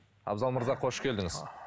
абзал мырза қош келдіңіз